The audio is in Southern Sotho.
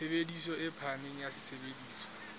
tshebediso e phahameng ya sesebediswa